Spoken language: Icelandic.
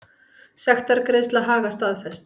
Sektargreiðsla Haga staðfest